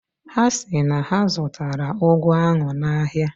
Ha si na ha zụtara ụgụ ahụ n'ahịa.